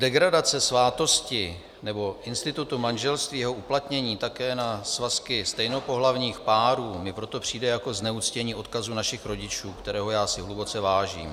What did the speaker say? Degradace svátosti - nebo institutu - manželství, jeho uplatnění také na svazky stejnopohlavních párů, mi proto přijde jako zneuctění odkazu našich rodičů, kterého já si hluboce vážím.